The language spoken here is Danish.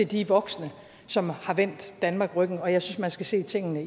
de voksne som har vendt danmark ryggen og jeg synes man skal se tingene